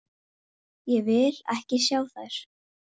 Ég gat ráðið öllu.